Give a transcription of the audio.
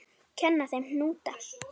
Kenna þeim hnúta?